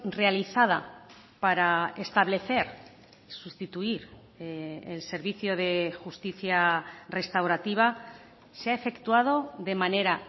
realizada para establecer sustituir el servicio de justicia restaurativa se ha efectuado de manera